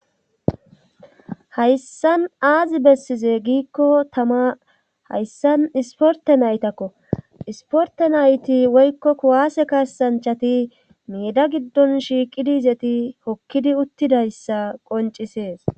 hayssan aazi bessize giikko tama hayssan isporte naytakko isporte nayti woykko kuwaase kasanchati miida giddon shiiqidi izeti hokkidi uttidayssa qoncisees